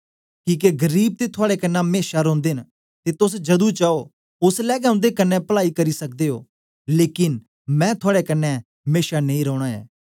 किके गरीब ते थुआड़े कन्ने मेशा रोंदे न ते तोस जदू चाओ ओसलै गै उन्दे कन्ने पलाई करी सकदे ओ लेकन मैं थुआड़े कन्ने मेशा नेई रौना ऐ